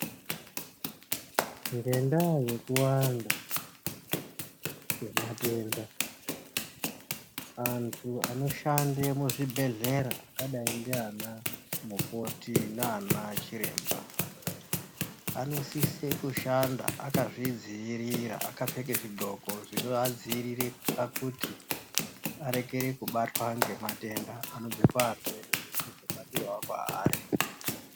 Ngendaa yekuwanda kwematenda antu anoshande muzvibhodhlera akadai ndiana mukoti nana chiremba anosise kushanda akazvidziirira akapfeke zvindxoko zvinoadziirire pakuti arekere kubatwa ngematenda anobve paarwere asabatirawo kwaari.